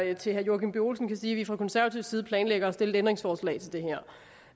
jeg til herre joachim b olsen kan sige at vi fra konservativ side planlægger at stille et ændringsforslag til det her